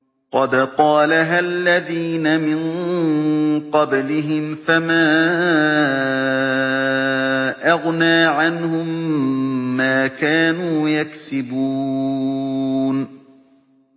قَدْ قَالَهَا الَّذِينَ مِن قَبْلِهِمْ فَمَا أَغْنَىٰ عَنْهُم مَّا كَانُوا يَكْسِبُونَ